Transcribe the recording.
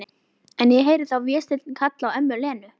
En heyri þá Véstein kalla á ömmu Lenu.